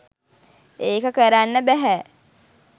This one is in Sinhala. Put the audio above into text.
ඒක කරන්න බැහැ.